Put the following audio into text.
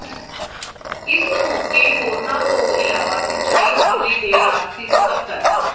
ਇਸ ਮੌਕੇ ਹੋਰਨਾਂ ਤੋਂ ਇਲਾਵਾ ਸਿੰਚਾਈ ਮੰਤਰੀ ਦੇ ਰਾਜਸੀ ਸਕੱਤਰ ਸ੍ਰ